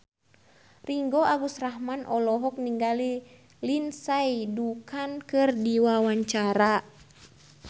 Ringgo Agus Rahman olohok ningali Lindsay Ducan keur diwawancara